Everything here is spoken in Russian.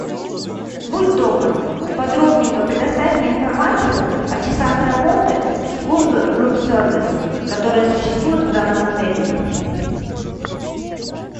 будь добр подробненько предоставь мне информацию о часах работы службы рум сервис которая существует в данном отеле